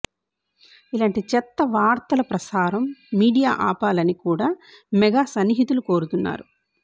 ఇలాంటి చెత్త వార్తల ప్రసారం మీడియా ఆపాలని కూడా మెగా సన్నిహితులు కోరుతున్నారు